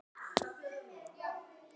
En þannig var hún ekki.